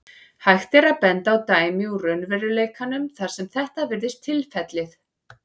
Hægt er að benda á dæmi úr raunveruleikanum þar sem þetta virðist tilfellið.